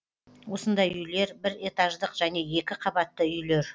осындай үйлер бір этаждық және екі қабатты үйлер